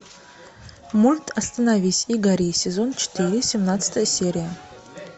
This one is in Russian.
мульт остановись и гори сезон четыре семнадцатая серия